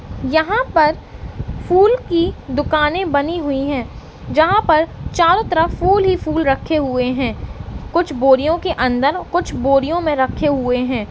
यहा पर फुल की दुकाने बनी हुई है जहा पर चारो तरफ फुल ही फुल रखे हुवे है कुछ बोरियो के अन्दर कुछ बोरियो में रखे हुए है।